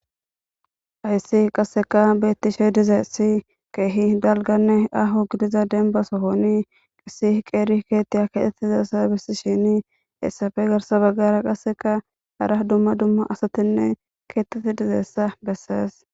Hayssi qasse beetishe de7iyayssi keehi dalgganne aahonne dembba sohoni issi qeeri keeththiya keexetidayssa besishin hessappe garssa bagara hara dumma dumma asati keetappe dizayssa beesees.